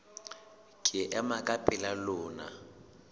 ke ema ka pela lona